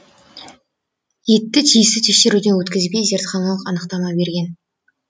етті тиісті тексеруден өткізбей зертханалық анықтама берген